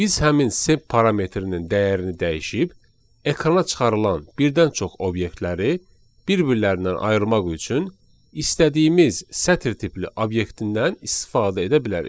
Biz həmin sep parametrinin dəyərini dəyişib, ekrana çıxarılan birdən çox obyektləri bir-birlərindən ayırmaq üçün istədiyimiz sətr tipli obyektindən istifadə edə bilərik.